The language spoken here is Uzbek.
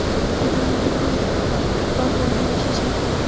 Odamlar ham mehribon, futbol bilan yashashadi.